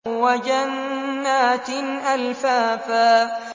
وَجَنَّاتٍ أَلْفَافًا